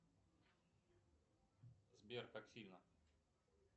сбер как сильно